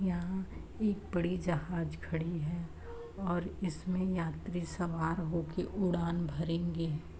यहाँ एक बड़ी जहाज खड़ी है और इसमें यात्री सवार होके उड़ान भरेंगे।